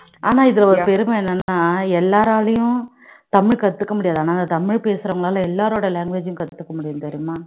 ஆமா இதுல ஒரு பெருமை என்னன்னா எல்லாராலயும் தமிழ் கத்துக்க முடியாது அதனால தமிழ் பேசுறவங்களால எல்லாரோட language ஆயும் கத்துக்க முடியும் தெரியுமா